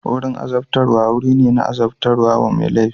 Wurin azabtarwa wuri ne na azabtar da mai laifi.